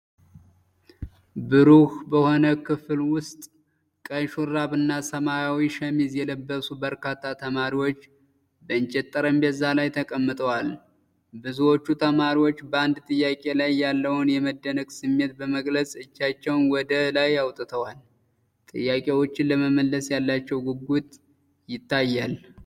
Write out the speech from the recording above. ብሩህ በሆነ ክፍል ውስጥ፣ ቀይ ሹራብና ሰማያዊ ሸሚዝ የለበሱ በርካታ ተማሪዎች በእንጨት ጠረጴዛ ላይ ተቀምጠዋል። ብዙዎቹ ተማሪዎች በአንድ ጥያቄ ላይ ያለውን የመደነቅ ስሜት በመግለጽ እጃቸውን ወደ ላይ አውጥተዋል፤ ጥያቄዎችን ለመመለስ ያላቸው ጉጉት ይታያል።